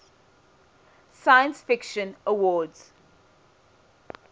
science fiction awards